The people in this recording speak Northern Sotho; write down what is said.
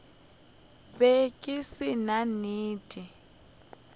be ke se na nnete